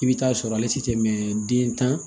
I bɛ taa sɔrɔ ale tɛ tɛmɛ den tan